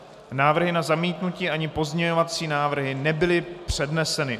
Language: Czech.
Návrhy na zamítnutí ani pozměňovací návrhy nebyly předneseny.